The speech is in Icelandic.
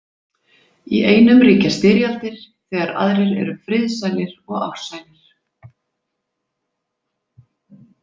Í einum ríkja styrjaldir þegar aðrir eru friðsælir og ársælir.